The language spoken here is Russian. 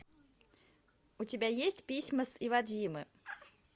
у тебя есть письма с иводзимы